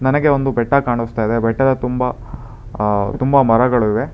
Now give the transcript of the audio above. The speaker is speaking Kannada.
ನನಗೆ ಒಂದು ಬೆಟ್ಟ ಕಾಣಸ್ತಾ ಇದೆ ಬೆಟ್ಟದ ತುಂಬ ಅ ತುಂಬ ಮರಗಳಿವೆ.